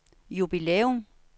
jubilæum